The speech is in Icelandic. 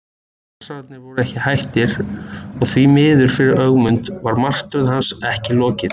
Þórsarar voru ekki hættir og því miður fyrir Ögmund var martröð hans ekki lokið.